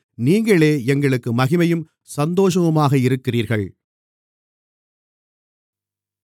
நீங்களே எங்களுக்கு மகிமையும் சந்தோஷமுமாக இருக்கிறீர்கள்